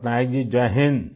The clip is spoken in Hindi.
पटनायक जी जय हिन्द आई